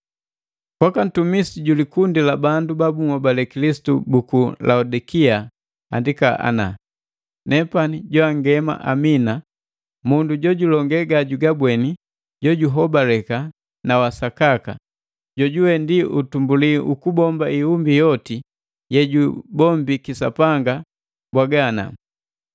“Kwaka ntumisi ju likundi la bandu ba bunhobale Kilisitu buku Laodikea andika ana.” “Nepani joangema Amina, mundu jojulonge ga jugabweni jo juhobaleka na wa sakaka, jojuwe ndi utumbuli wa ukubomba iumbi yoti ye jubombiki Sapanga mbwaga ana.